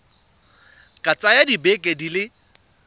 ka tsaya dibeke di le